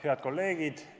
Head kolleegid!